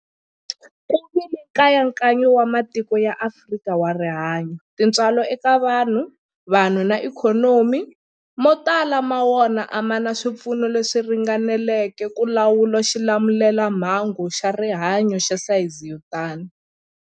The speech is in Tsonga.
Ku vile nkayakayo wa matiko ya Afrika wa rihanyu, tintswalo eka vanhu, vanhu na ikhonomi, mo tala ma wona a ma na swipfuno leswi ringaneleke ku lawula xilamulelamhangu xa rihanyu xa sayizi yo tani.